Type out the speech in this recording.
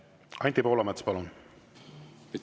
Anti Poolamets, palun!